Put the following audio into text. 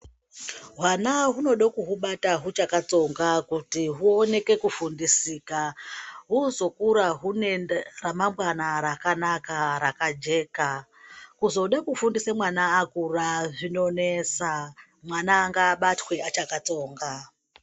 Hwana hwunoda kuhwubata hwuchakatsonga kuti hwuoneke kufundisika hwuzokura hwune ramangwana rakanaka rakajeka. Kuzode kurfundisa mwana akura zvinonesa mwana ngaabatwe achakatsonga.